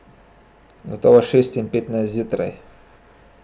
Gotovo šest in petnajst zjutraj.